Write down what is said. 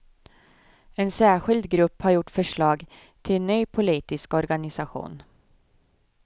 En särskild grupp har gjort förslag till ny politisk organisation.